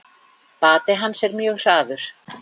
Bati hans er mjög hraður.